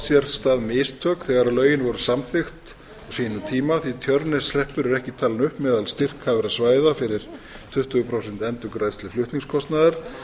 sér stað mistök þegar lögin voru samþykkt á sínum tíma því tjörneshreppur er ekki talinn upp meðal styrkhæfra svæða fyrir tuttugu prósent endurgreiðslu flutningskostnaðar